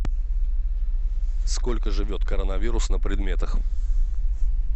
сколько живет коронавирус на предметах